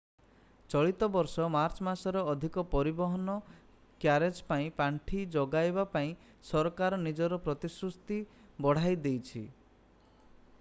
ଚଳିତ ବର୍ଷ ମାର୍ଚ୍ଚ ମାସରେ ଅଧିକ ପରିବହନ/ କ୍ୟାରେଜ ପାଇଁ ପାଣ୍ଠି ଯୋଗାଇବାପାଇଁ ସରକାର ନିଜର ପ୍ରତିସୃତି ବଢାଇ ଦେଇଛି।